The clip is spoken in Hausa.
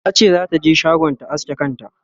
tace zata je shagon ta aske kanta